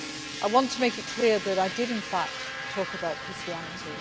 I want to make it clear that I did, in fact, talk about Christianity.